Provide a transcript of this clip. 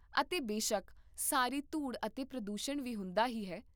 ਅਤੇ ਬੇਸ਼ੱਕ, ਸਾਰੀ ਧੂੜ ਅਤੇ ਪ੍ਰਦੂਸ਼ਣ ਵੀ ਹੁੰਦਾ ਹੀ ਹੈ